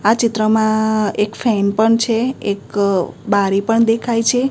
આ ચિત્રમાં એક ફેન પણ છે એક બારી પણ દેખાય છે.